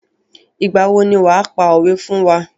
Ìgbà wo ni wàá pa òwé fún wá.